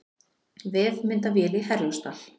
Vefmyndavél í Herjólfsdal